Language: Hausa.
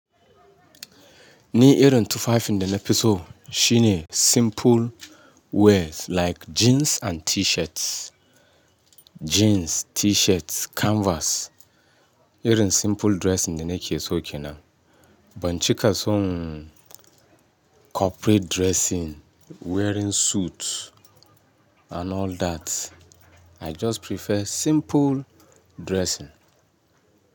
Ni irin tufafin da na fi so shine simple wears like jeans and T-shirts, jeans, T-shirts, canvas. Irin simple dressing ne nake so ke nan. Ban cika son corporate dressing, wearing suit and all that. I just prefer simple dressing.